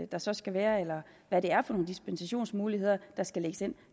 der så skal være eller hvad det er for nogle dispensationsmuligheder der skal lægges ind